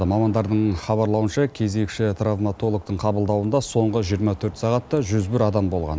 мамандардың хабарлауынша кезекші травматологтың қабылдауында соңғы жиырма төрт сағатта жүз бір адам болған